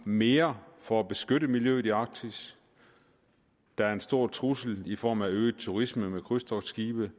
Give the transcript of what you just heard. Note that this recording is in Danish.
mere for at beskytte miljøet i arktis der er en stor trussel i form af øget turisme med krydstogtskibe